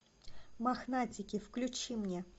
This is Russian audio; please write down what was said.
мохнатики включи мне